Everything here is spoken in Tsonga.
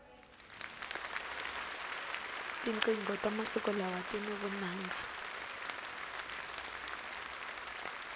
tinqingho ta masiku lawa tini vunanga